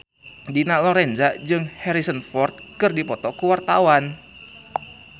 Dina Lorenza jeung Harrison Ford keur dipoto ku wartawan